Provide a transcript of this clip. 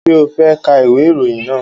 Ṣé o fẹ́ ka ìwé ìròyìn náà?